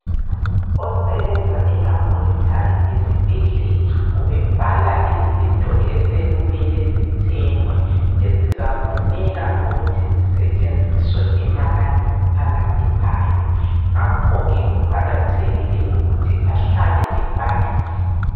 Osebenza elabhorethari yesibhedlela ubebhala izinto osekuzamele zithengwe, ezizafuneka ukuthi zisetshenziswe emalangeni alandelayo. Ngakhoke kuqakathekile ukuthi ahlale ebhalile.